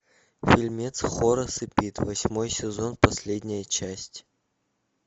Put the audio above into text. фильмец хорас и пит восьмой сезон последняя часть